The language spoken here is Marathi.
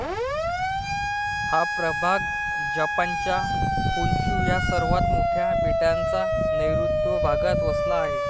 हा प्रभाग जपानच्या होनशु ह्या सर्वात मोठ्या बेटाच्या नैऋत्य भागात वसला आहे.